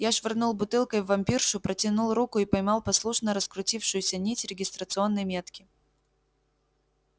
я швырнул бутылкой в вампиршу протянул руку и поймал послушно раскрутившуюся нить регистрационной метки